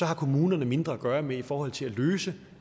har kommunerne mindre at gøre godt med i forhold til at løse